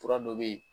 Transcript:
Fura dɔ bɛ yen